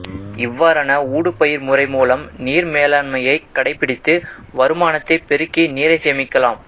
இவ்வாறான ஊடுபயிர் முறை மூலம் நீர் மேலாண்மையைக் கடைப்பிடித்து வருமானத்தைப் பெருக்கி நீரைச் சேமிக்கலாம்